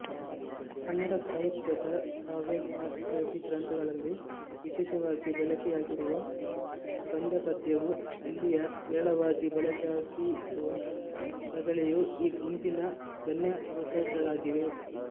ಕನ್ನಡ ಸಾಹಿತ್ಯದ ಕಾವ್ಯಶಾಸ್ತ್ರ್ರಾದಿಗ್ರಂಥಗಳಲ್ಲಿ ವಿಶೇಷವಾಗಿ ಬಳಕೆಯಾಗಿರುವ ಕಂದಪದ್ಯವೂ ಅಲ್ಲಿಯೇ ವಿರಳವಾಗಿ ಬಳಕೆಯಾಗಿರುವ ರಗಳೆಯೂ ಈ ಗುಂಪಿನ ಗಣ್ಯವೃತ್ತಗಳಾಗಿವೆ